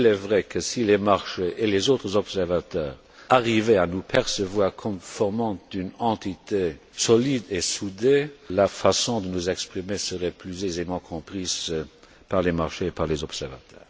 Il est vrai que, si les marchés et les autres observateurs arrivaient à nous percevoir comme formant une entité solide et soudée, la façon de nous exprimer serait plus aisément comprise par les marchés et par les observateurs.